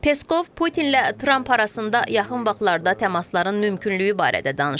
Peskov Putinlə Tramp arasında yaxın vaxtlarda təmasların mümkünlüyü barədə danışıb.